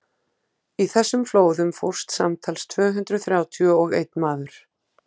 í þessum flóðum fórst samtals tvö hundruð þrjátíu og einn maður